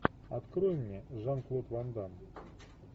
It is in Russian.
открой мне жан клод ван дамм